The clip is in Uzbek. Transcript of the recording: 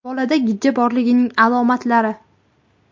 Bolada gijja borligining alomatlari.